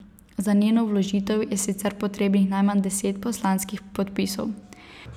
Za njeno vložitev je sicer potrebnih najmanj deset poslanskih podpisov.